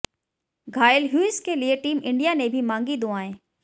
घायल ह्यूज के लिए टीम इंडिया ने भी मांगी दुआएं